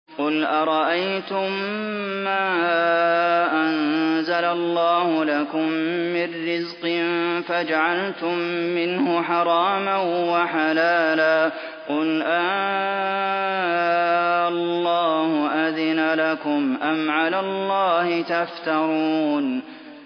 قُلْ أَرَأَيْتُم مَّا أَنزَلَ اللَّهُ لَكُم مِّن رِّزْقٍ فَجَعَلْتُم مِّنْهُ حَرَامًا وَحَلَالًا قُلْ آللَّهُ أَذِنَ لَكُمْ ۖ أَمْ عَلَى اللَّهِ تَفْتَرُونَ